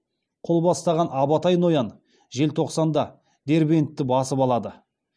қол бастаған абатай ноян желтоқсанда дербентті басып алады